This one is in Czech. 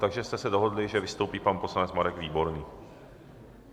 Takže jste se dohodli, že vystoupí pan poslanec Marek Výborný?